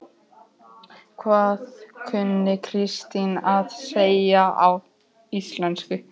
Hvað kunni Kristín að segja á íslensku?